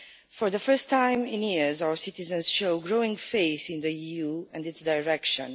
For the first time in years, our citizens show growing faith in the EU and its direction.